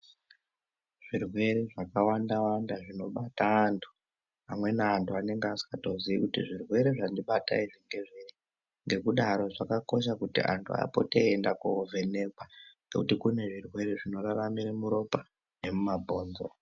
Zvirwere zvakawanda wanda zvinobata antu amweni antu anenge asingazivi kuti zvirwere zvandibata izvi ngezvei. Ngekudaro zvakakosha kuti antu apote eienda kovhenekwa ngekuti kune zvirwere zvinoraramira muropa nemumabhonzo.